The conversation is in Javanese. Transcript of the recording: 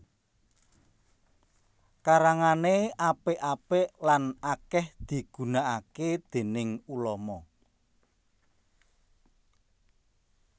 Karangané apik apik lan akèh digunakaké déning ulama